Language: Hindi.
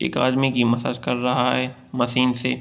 एक आदमी की मसाज कर रहा है मशीन से।